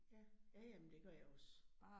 Ja, ja ja, men det gør jeg også